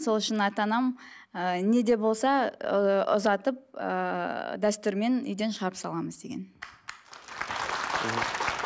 сол үшін ата анам ыыы не де болса ыыы ұзатып ыыы дәстүрмен үйден шығарып саламыз деген